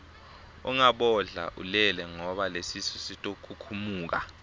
ungabodla ulele ngoba lesisu sitokhukhumuka